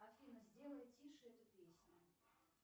афина сделай тише эту песню